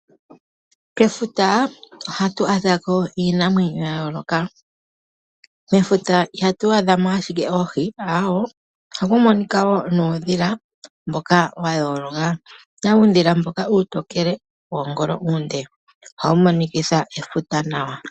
Kefuta ohatu adhako iinamwenyo ya yooloka. Mefuta ihatu adhamo ashike oohi aawe! Ohaku monika woo nuundhila mboka wa yooloka. Okuna uudhila mboka uutokele woongolo ndhoka oonde . Ohawu monikitha efuta nawa.